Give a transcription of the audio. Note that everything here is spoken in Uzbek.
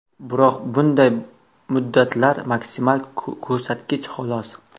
Biroq bunday muddatlar maksimal ko‘rsatkich, xolos.